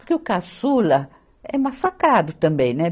Porque o caçula é uma facada também, né?